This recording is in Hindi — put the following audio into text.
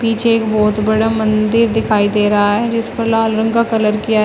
पीछे एक बहोत बड़ा मंदिर दिखाई दे रहा है जिस पर लाल रंग का कलर किया--